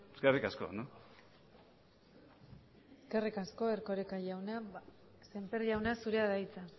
eskerrik asko eskerrik asko erkoreka jauna sémper jauna zurea da hitza